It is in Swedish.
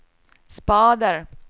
spader